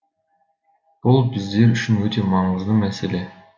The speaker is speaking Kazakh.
бұл біздер үшін өте маңызды мәселе